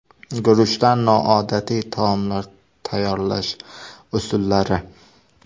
Guruchdan noodatiy taomlar tayyorlash usullari.